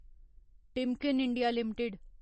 Timken India limited